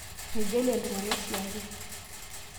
Meijalie iltung'ana oshiake